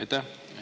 Aitäh!